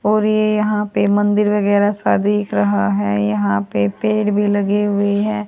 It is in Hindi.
और ये यहां पे मंदिर वगैरा सा दिख रहा है यहां पे पेड़ भी लगे हुए हैं।